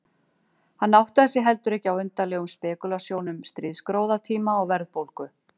Hann áttaði sig heldur ekki á undarlegum spekúlasjónum stríðsgróðatíma og verðbólgu.